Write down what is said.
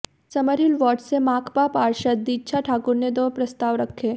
Summerhill ward से माकपा पार्षद दीक्षा ठाकुर ने दो प्रस्ताव रखे